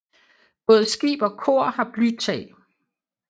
Både skib og kor har blytag